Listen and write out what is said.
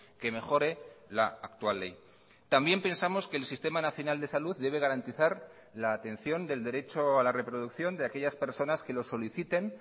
que mejore la actual ley también pensamos que el sistema nacional de salud debe garantizar la atención del derecho a la reproducción de aquellas personas que lo soliciten